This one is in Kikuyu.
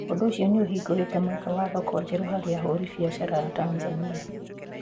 Ũndũ ũcio nĩ ũhingũrĩtĩ mweke wa thoko njerũ harĩ ahũri biacara a Tanzania.